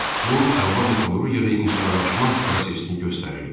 Bu əlva metallurqiyada inhisarlaşma prosesini göstərirdi.